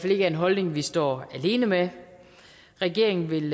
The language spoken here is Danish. er en holdning vi står alene med regeringen vil